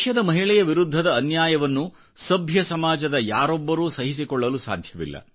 ದೇಶದ ಮಹಿಳೆಯ ವಿರುದ್ಧದ ಅನ್ಯಾಯವನ್ನು ಸಮಾಜದ ಯಾರೊಬ್ಬರೂ ಸಹಿಸಿಕೊಳ್ಳಲು ಸಾಧ್ಯವಿಲ್ಲ